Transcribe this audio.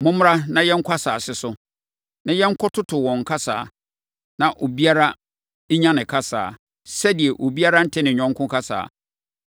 Mommra na yɛnkɔ asase so, na yɛnkɔtoto wɔn kasa, na obiara nya ne kasa, sɛdeɛ obiara nte ne yɔnko kasa.”